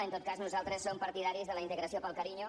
en tot cas nosaltres som partidaris de la integració pel carinyo